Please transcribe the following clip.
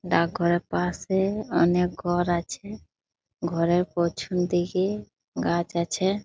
ডাক ঘরের পাশে-এ অনেক ঘর আছে। ঘরের পছিম দিকে গাছ আছে ।